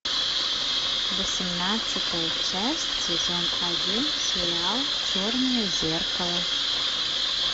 восемнадцатая часть сезон один сериал черное зеркало